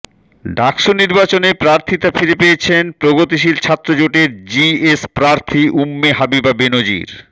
ডাকসু নির্বাচনে প্রার্থীতা ফিরে পেয়েছেন প্রগতিশীল ছাত্রজোটের জিএস প্রার্থী উম্মে হাবিবা বেনজির